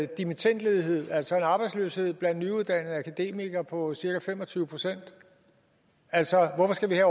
dimittendledighed altså en arbejdsløshed blandt nyuddannede akademikere på cirka fem og tyve procent altså hvorfor skal vi have